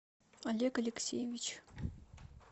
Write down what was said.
олег алексеевич